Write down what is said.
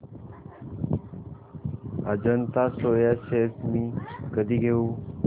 Ajanta Soya shares मी कधी घेऊ